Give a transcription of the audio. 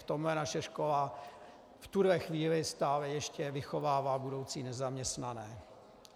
V tomhle naše škola v tuhle chvíli stále ještě vychovává budoucí nezaměstnané.